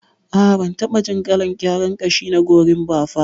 A'a bantaɓa jin kalar gyaran gashi na gorimafa ba.